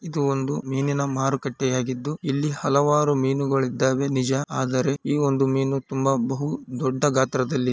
ಇದು ಒಂದು ಮೀನಿನ ಮಾರುಕಟ್ಟೆಯಾಗಿದ್ದು ಇಲ್ಲಿ ಹಲವಾರು ಮೀನುಗಳಿದ್ದಾವೆ ನಿಜ ಆದರೆ ಈ ಒಂದು ಮೀನು ಬಹು ದೊಡ್ಡ ಗಾತ್ರದಲ್ಲಿ --